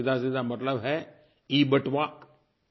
wallet का सीधासीधा मतलब है eबटुवा